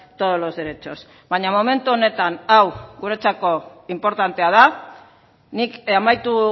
todos los derechos baina momentu honetan hau guretzako inportantea da nik amaitu